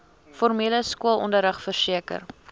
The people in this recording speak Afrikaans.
formele skoolonderrig verseker